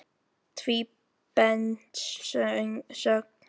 Tvíbent sögn.